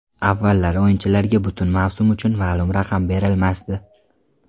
Avvallari o‘yinchilarga butun mavsum uchun ma’lum raqam berilmasdi.